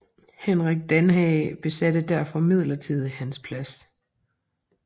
Henrik Danhage besatte derfor midlertidigt hans plads